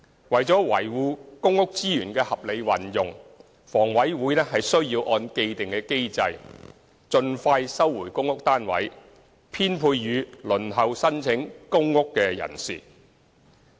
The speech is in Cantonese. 為了維護公屋資源的合理運用，房委會須按既定機制，盡快收回公屋單位，編配予輪候申請公屋的人士。